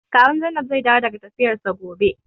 Kawun Zainab zai dawo daga tafiyarsa gobe.